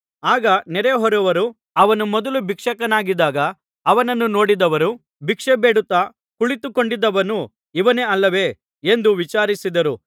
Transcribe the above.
ಆಗ ನೆರೆಹೊರೆಯವರು ಅವನು ಮೊದಲು ಭಿಕ್ಷುಕನಾಗಿದ್ದಾಗ ಅವನನ್ನು ನೋಡಿದ್ದವರೂ ಭಿಕ್ಷೆಬೇಡುತ್ತಾ ಕುಳಿತುಕೊಂಡಿದ್ದವನು ಇವನೇ ಅಲ್ಲವೇ ಎಂದು ವಿಚಾರಿಸಿದರು